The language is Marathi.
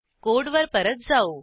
कोडवर परत जाऊ